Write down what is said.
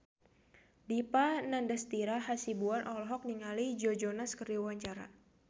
Dipa Nandastyra Hasibuan olohok ningali Joe Jonas keur diwawancara